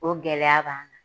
O gɛlɛya b'an kan.